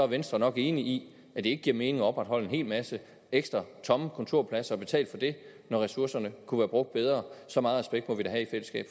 venstre nok enig i at det ikke giver mening at opretholde en hel masse ekstra tomme kontorpladser og betale for det når ressourcerne kunne være brugt bedre så meget respekt må vi da i fællesskab